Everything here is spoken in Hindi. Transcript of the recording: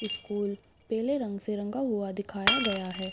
स्कूल पेले रंग से रंगा हुआ दिखाया गया है।